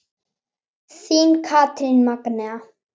Þín Katrín Magnea.